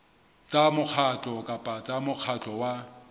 tsa mokgatlo kapa mokgatlo wa